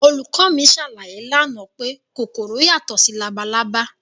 Olùkọ́ mi ṣàlàyé lánàá pé kòkòrò yàtọ̀ sí labalábá